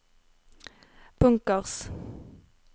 bunkers